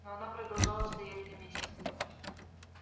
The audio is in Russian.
но она продолжала стоять на месте